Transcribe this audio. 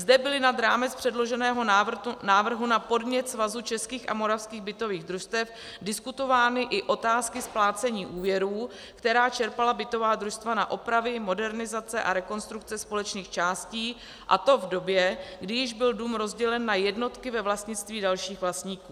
Zde byly nad rámec předloženého návrhu na podnět Svazu českých a moravských bytových družstev diskutovány i otázky splácení úvěrů, které čerpala bytová družstva na opravy, modernizace a rekonstrukce společných částí, a to v době, kdy již byl dům rozdělen na jednotky ve vlastnictví dalších vlastníků.